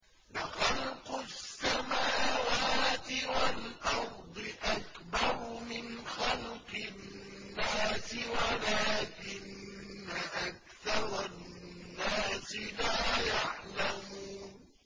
لَخَلْقُ السَّمَاوَاتِ وَالْأَرْضِ أَكْبَرُ مِنْ خَلْقِ النَّاسِ وَلَٰكِنَّ أَكْثَرَ النَّاسِ لَا يَعْلَمُونَ